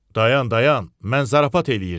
Dayan, dayan, mən zarafat eləyirdim.